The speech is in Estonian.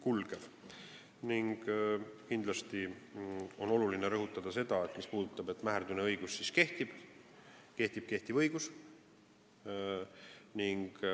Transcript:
Oluline on rõhutada, et mis puudutab seda, mäherdune õigus siis kehtib, siis kehtib kehtiv õigus.